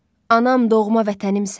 Anam, doğma vətənimsən.